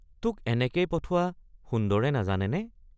তোক এনে কেই পঠোৱা সুন্দৰে নাজানেনে?